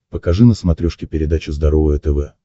покажи на смотрешке передачу здоровое тв